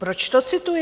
Proč to cituji?